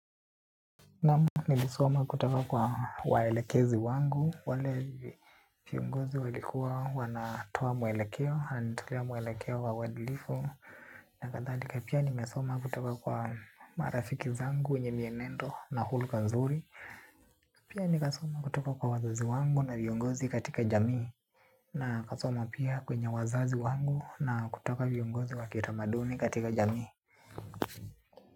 Naam, nilisoma kutoka kwa waelekezi wangu, wale viongozi walikuwa wanatoa mwelekeo, wananitolea mwelekeo wa uadilifu, na kadhalika. Pia nimesoma kutoka kwa marafiki zangu wenye mienendo na hulka nzuri, pia nikasoma kutoka kwa wazazi wangu na viongozi katika jamii, na kasoma pia kwenye wazazi wangu na kutoka viongozi wa kitamaduni katika jamii.